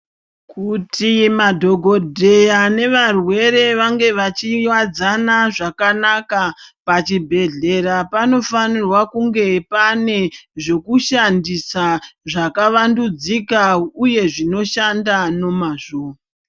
Kuti madhokodheya nevarwere vange vachiwadzana zvakanaka pachibhedhlera panofanirwa kunge pane zvekushandisa zvakawandundzika uye zvinoshanda nomazvo.